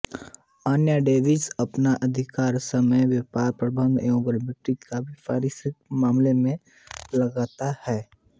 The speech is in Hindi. अन्यथा डेविस अपना अधिकांश समय व्यापर प्रबंधन एवं गारफील्ड के व्यवसायी मामलों में लगाता है